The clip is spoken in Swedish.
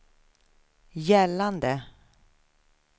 gällande